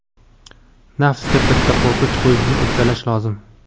nafsga bitta qo‘riqchi qo‘yishni uddalash lozim.